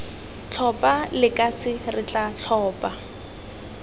tlhophe lekase re tla tlhopha